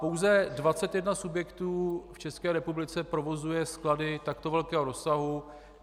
Pouze 21 subjektů v České republice provozuje sklady takto velkého rozsahu.